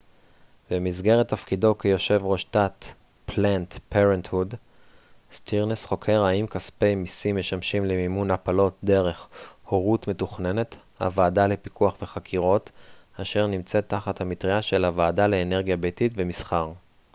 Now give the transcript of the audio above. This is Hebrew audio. סטירנס חוקר האם כספי מיסים משמשים למימון הפלות דרך 'הורות מתוכננת' planned parenthood במסגרת תפקידו כיושב ראש תת הוועדה לפיקוח וחקירות אשר נמצאת תחת המטרייה של הוועדה לאנרגיה ביתית ומסחר